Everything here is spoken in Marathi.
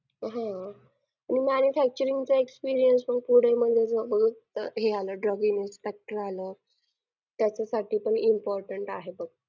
ते all rounder येत ना. मग ते तेच सगळं आमच्या कडून करून घेतात. स्वता आणि रोजच्या रोज आम्ही कोणी कमी पडू नये म्हणून motivational lecture सुधा ठे असतात. तेच आम्हाला देतात.